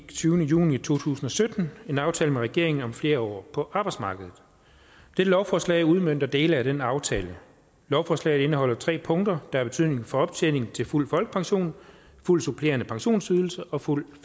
tyvende juni to tusind og sytten en aftale med regeringen om flere år på arbejdsmarkedet dette lovforslag udmønter dele af den aftale lovforslaget indeholder tre punkter der har betydning for optjeningen til fuld folkepension fuld supplerende pensionsydelse og fuld